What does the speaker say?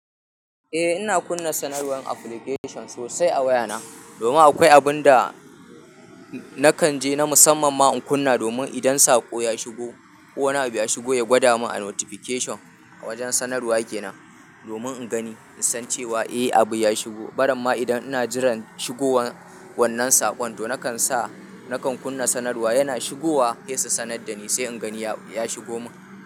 Eh ina kunna sanarwar application sosai a wayana, domin akwai abun da nakan je na musamman ma in kunna domin idan saƙo ya shigo ko wani abu ya shigo ya gwada min a notification a wajen sanarwa kenan domin in gani in san cewa eh abu ya shigo. Barinma idan ina jiran shigowar wannan saƙon to nakan sa nakan kunna sanarwa yana shigowa se su sanar da ni sai in gani ya shigo mun.